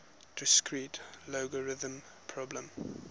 discrete logarithm problem